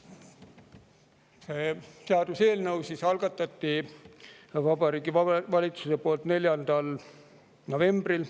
Selle seaduseelnõu algatas Vabariigi Valitsuse 4. novembril.